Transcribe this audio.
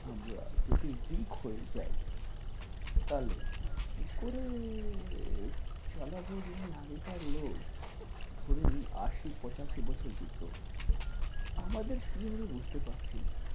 আমরা যদি week হয়ে যাই তাহলে কী করে চালাব যেমনি আগেকার লোক ধরে নিন আশি পঁচাশি বছর যেত, আমাদের কী হবে বুঝতে পারছি না।